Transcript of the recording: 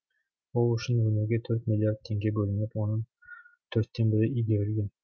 ол үшін өңірге төрт миллиард теңге бөлініп оның төрттен бірі игерілген